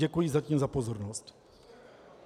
Děkuji zatím za pozornost.